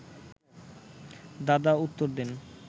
দাদা উত্তর দেন